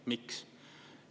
Miks?